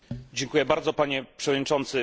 Dziękuję bardzo, Panie Przewodniczący!